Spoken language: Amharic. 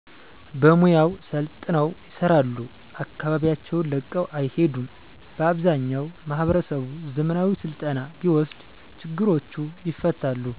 በሙያው ሰልጥነው ይሰራሉ አከባቢያቸውን ለቀው አይሄዱም በአብዛኛው ማህበረሰቡ ዘመናዊ ስልጠና ቢወስድ ችግሮቹ ይፈታሉ።